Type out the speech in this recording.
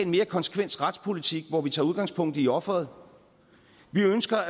mere konsekvent retspolitik hvor vi tager udgangspunkt i offeret vi ønsker